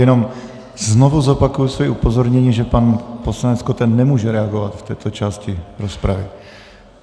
Jenom znovu zopakuji svoje upozornění, že pan poslanec Koten nemůže reagovat v této části rozpravy.